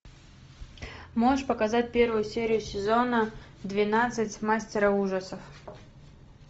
можешь показать первую серию сезона двенадцать мастера ужасов